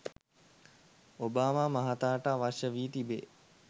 Obama මහතාට අවශ්‍ය වී තිබේ.